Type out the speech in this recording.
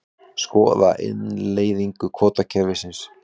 Skoða innleiðingu kvótakerfis